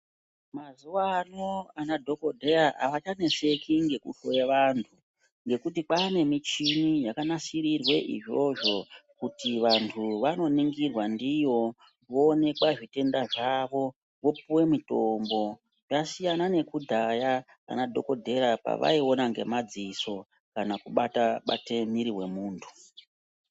Mazuvaano anadhogodheya havachaneseki ngekuhloye vantu ngekuti kwaanemichini yakanasirirwe izvozvo kuti vantu vanoningirwa ndiyo, voonekwa zvitenda zvavo, vopuwe mitombo. Zvasiyana nekudhaya anadhogodheya pavaiona ngemadziso kana kubata-bate mwiiri wemuntu.